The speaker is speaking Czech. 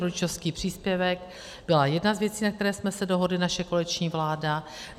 Rodičovský příspěvek byla jedna z věcí, na které jsme se dohodli, naše koaliční vláda.